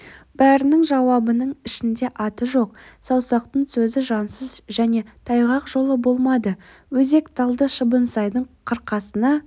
бәрінің жауабының ішінде аты жоқ саусақтың сөзі жансыз және тайғақ жолы болмады өзек талды шыбынсайдың қырқасына